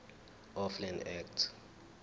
of land act